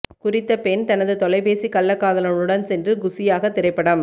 குறித்த பெண் தனது தொலைபேசிக் கள்ளக் காதலனுடன் சென்று குசியாக திரைப்படம்